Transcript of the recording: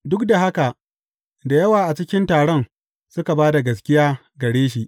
Duk da haka, da yawa a cikin taron suka ba da gaskiya gare shi.